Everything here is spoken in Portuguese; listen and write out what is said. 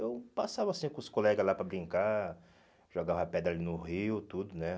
Eu passava, assim, com os colegas lá para brincar, jogava pedra ali no rio, tudo, né?